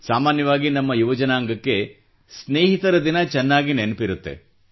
ಸಾಮಾನ್ಯವಾಗಿ ನಮ್ಮ ಯುವ ಜನಾಂಗಕ್ಕೆ ಸ್ನೇಹಿತರ ದಿನ ಚೆನ್ನಾಗಿ ನೆನಪಿರುತ್ತದೆ